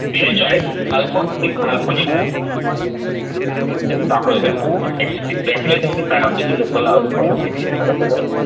space जो आहे काल्पनिक जे दाखवल त्यामध्ये exactly याच्यामध्ये काय होते की लोकाला अजूनपर्यंत माहित नाही कारण त्याच्यात